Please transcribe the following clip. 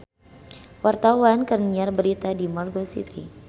Wartawan keur nyiar berita di Margo City